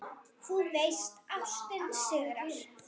Þú veist: Ástin sigrar.